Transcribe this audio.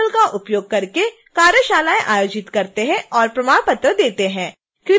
हम spoken tutorial का उपयोग करके कार्यशालाएं आयोजित करते हैं और प्रमाण पत्र देते हैं